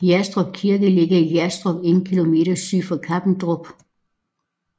Hjadstrup Kirke ligger i Hjadstrup 1 km syd for Kappendrup